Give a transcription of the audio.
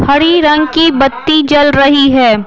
हरी रंग की बत्ती जल रही है।